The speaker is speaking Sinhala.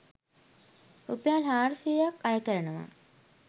රුපියල් හාරසියයක් අය කරනවා.